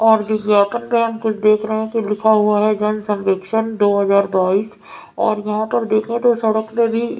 और विज्ञापन पे हम कुछ देख रहे हैं कि लिखा हुआ है जन संवेक्षण दो हजार बाईस और यहाँ पर देखें तो सड़क में भी --